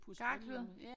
Karklude